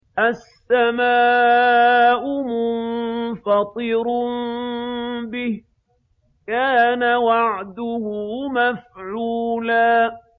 السَّمَاءُ مُنفَطِرٌ بِهِ ۚ كَانَ وَعْدُهُ مَفْعُولًا